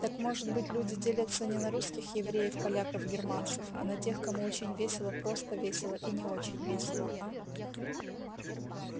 так может быть люди делятся не на русских евреев поляков германцев а на тех кому очень весело просто весело и не очень весело а